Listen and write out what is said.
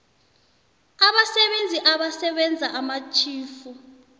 abasebenzi abasebenza amatjhifu